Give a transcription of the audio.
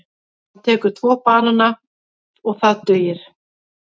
Hann tekur tvo banana og það dugir.